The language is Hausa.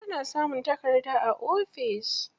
Ana samun takarda a ofis.